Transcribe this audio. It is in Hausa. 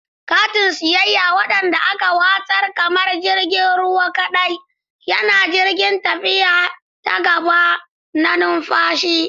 Katin siyayya, wanda aka watsar kamar jirgin ruwa kadai, yana jiran tafiya ta gaba da numfashi.